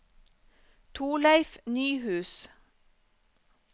Torleif Nyhus